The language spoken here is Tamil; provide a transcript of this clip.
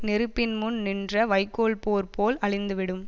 நெருப்பின் முன் நின்ற வைக்கோல் போர் போல் அழிந்துவிடும்